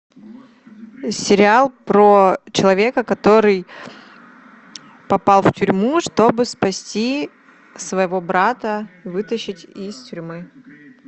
сериал про человека который попал в тюрьму чтобы спасти своего брата вытащить из тюрьмы